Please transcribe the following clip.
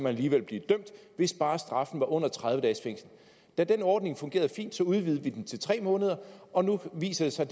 alligevel blive dømt hvis bare straffen var under tredive dages fængsel da den ordning fungerede fint udvidede vi den til tre måneder og nu viser det sig